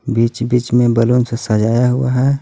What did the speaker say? बीच-बीच में बलून से सजाया हुआ है.